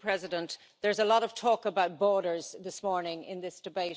President, there's a lot of talk about borders this morning in this debate, and rightly so around migration.